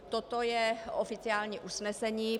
Toto je oficiální usnesení.